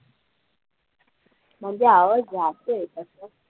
म्हणजे आवाज जातोय तसं